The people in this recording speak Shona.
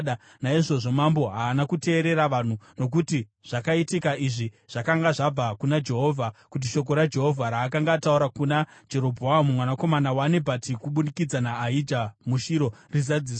Naizvozvo mambo haana kuteerera vanhu, nokuti zvakaitika izvi zvakanga zvabva kuna Jehovha, kuti shoko raJehovha raakanga ataura kuna Jerobhoamu mwanakomana waNebhati kubudikidza naAhija muShiro rizadziswe.